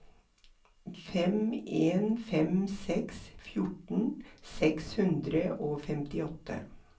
fem en fem seks fjorten seks hundre og femtiåtte